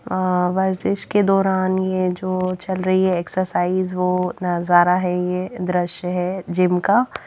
अ के दौरान ये जो चल रही है एक्सरसाइज वो नजारा है ये दृश्य है जिम का--